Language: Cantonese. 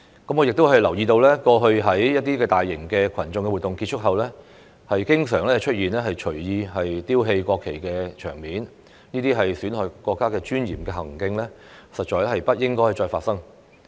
我亦留意到，過去在一些大型群眾活動結束後，經常出現隨意丟棄國旗的場面，這些損害國家尊嚴的行徑，實在不應該再發生。